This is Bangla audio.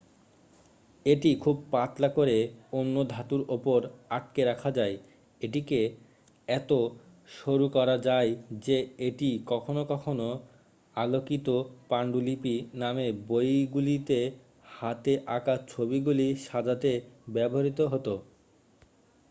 """এটি খুব পাতলা করে অন্য ধাতুর উপর আটকে রাখা যায়। এটিকে এত সরুকরা যায় যে এটি কখনও কখনও "আলোকিত পান্ডুলিপি "নামে বইগুলিতে হাতে আঁকা ছবিগুলি সাজাতে ব্যবহৃত হত।""